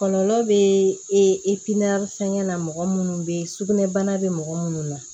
Kɔlɔlɔ bɛ e pimeri fɛnkɛ na mɔgɔ minnu bɛ yen sugunɛ bana bɛ mɔgɔ minnu na